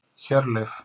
Hjörleif